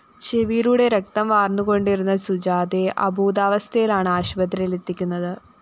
ചെവിയിലൂടെ രക്തം വാര്‍ന്നുകൊണ്ടിരുന്ന സുജാതയെ അബോധാവസ്ഥയിലാണ് ആശുപത്രിയിലെത്തിക്കുന്നത്